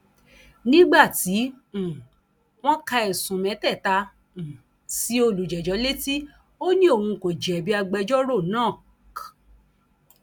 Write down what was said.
nígbà tí um wọn ka ẹsùn mẹtẹẹta um sí olùjẹjọ létí ó ní òun kò jẹbi agbẹjọrò rẹ náà k